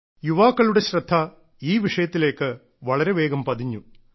യുവാക്കളുടെ ശ്രദ്ധ ഈ വിഷയത്തിലേക്ക് വളരെ വേഗം പതിഞ്ഞു